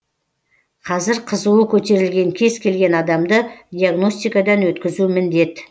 қазір қызуы көтерілген кез келген адамды диагностикадан өткізу міндет